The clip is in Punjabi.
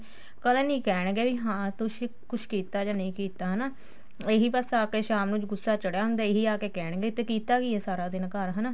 ਪਰ ਇਹ ਨੀ ਕਹਿਣਗੇ ਵੀ ਤੁਸੀ ਕੁੱਝ ਕੀਤਾ ਜਾਂ ਨਹੀਂ ਕੀਤਾ ਹਨਾ ਇਹੀ ਬੱਸ ਅ ਕੇ ਸ਼ਾਮ ਨੂੰ ਗੁੱਸਾ ਚੜਿਆ ਹੁੰਦਾ ਇਹੀ ਆ ਕੇ ਕਹਿਣਗੇ ਤੇ ਕੀਤਾ ਕੀ ਏ ਸਾਰਾ ਦਿਨ ਘਰ ਹਨਾ